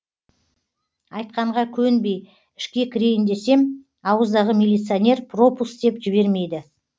айтқанға көнбей ішке кірейін десем ауыздағы милиционер пропуск деп жібермейді